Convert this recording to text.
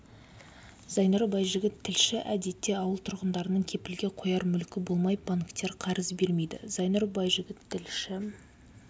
зайнұр байжігіт тілші әдетте ауыл тұрғындарының кепілге қояр мүлкі болмай банктер қарыз бермейді зайнұр байжігіт тілші